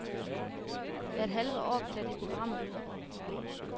Hvert halve år piller de programmet ud.